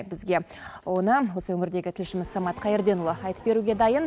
бізге оны осы өңірдегі тілшіміз самат қайырденұлы айтып беруге дайын